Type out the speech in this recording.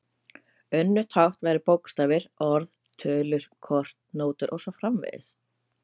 Önnur tákn væru bókstafir, orð, tölur, kort, nótur og svo framvegis.